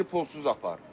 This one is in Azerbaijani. Bizi pulsuz apar.